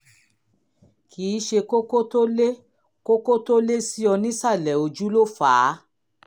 kì í ṣe kókó tó lé kókó tó lé sí ọ nísàlẹ̀ ojú ló fà á